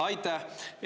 Aitäh!